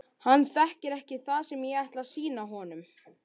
Hann þekkir ekki það sem ég ætla að sýna honum.